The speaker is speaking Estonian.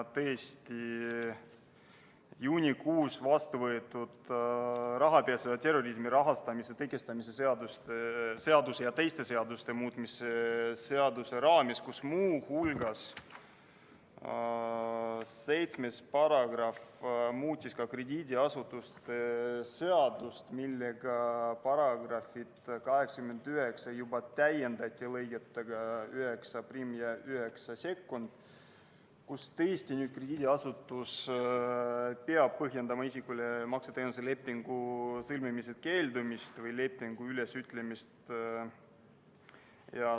Tõesti, juunikuus vastu võetud rahapesu ja terrorismi rahastamise tõkestamise seaduse ja teiste seaduste muutmise seaduse raames muudeti §-ga 7 krediidiasutuste seadust: § 89 juba täiendati lõigetega 91 ja 92, mille järgi peab krediidiasutus põhjendama isikule makseteenuse lepingu sõlmimisest keeldumist või lepingu ülesütlemist.